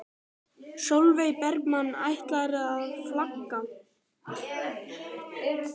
Sólveig Bergmann: Ætlarðu að flagga?